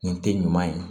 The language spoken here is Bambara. Nin tɛ ɲuman ye